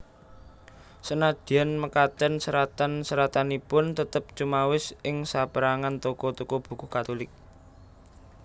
Senadyan mekaten seratan seratanipun tetep cumawis ing sapérangan toko toko buku Katulik